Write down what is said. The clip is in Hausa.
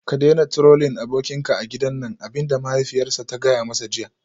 Ka daina Trolling abokinka a gidan nan abin da mahaifiyarsa ta gaya masa jiya